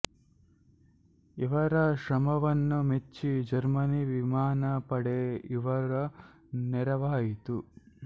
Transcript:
ಇವರ ಶ್ರಮವನ್ನ ಮೆಚ್ಚಿ ಜರ್ಮನ್ ವಿಮಾನ ಪಡೆ ಇವರ ನೆರವಾಯಿತು